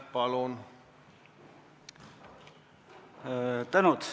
Palun!